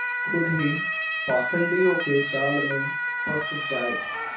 खुद ही पाखंडियों के जाल में फँस जाए